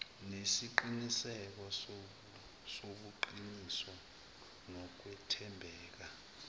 nesiqiniseko sobuqiniso nokwethembeka